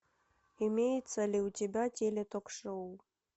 имеется ли у тебя теле ток шоу